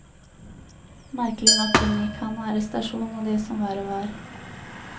Merkelig nok unngikk han arrestasjon og det som verre var.